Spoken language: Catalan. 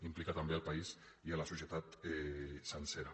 implica també el país i la societat sencera